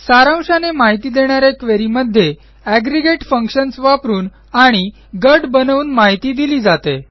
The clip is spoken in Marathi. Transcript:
सारांशाने माहिती देणा या क्वेरी मध्ये एग्रीगेट functionsवापरून आणि गट बनवून माहिती दिली जाते